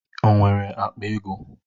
O nwere akpa ego?